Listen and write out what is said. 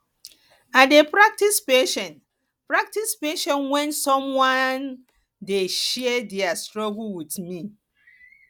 i dey practice patience practice patience when someone dey share their struggles with me